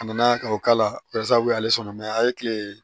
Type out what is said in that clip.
A nana ka o kalaw y'ale sɔrɔ a ye kile ye